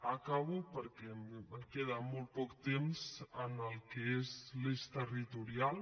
acabo perquè em queda molt poc temps en el que és l’eix territorial